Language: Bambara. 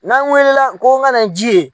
N'an wulila ko n kana ji ye